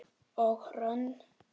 Og Hrönn?